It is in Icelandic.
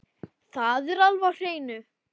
Það er alveg á hreinu.